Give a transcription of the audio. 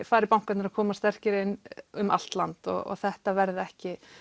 fari bankarnir að koma sterkir inn um allt land og þetta verði ekki